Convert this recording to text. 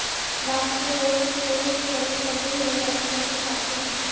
basket بال کے court کے قریب کٹے ہوئے درختوں کی شاخیں